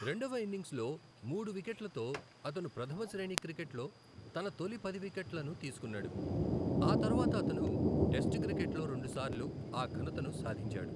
రెండవ ఇన్నింగ్స్లో మూడు వికెట్లతో, అతను ప్రధమ శ్రేణి క్రికెట్లో తన తొలి పది వికెట్లను తీసుకున్నాడు, ఆ తర్వాత అతను టెస్ట్ క్రికెట్లో రెండుసార్లు ఆ ఘనతను సాధించాడు.